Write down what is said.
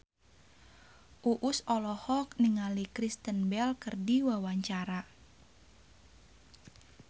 Uus olohok ningali Kristen Bell keur diwawancara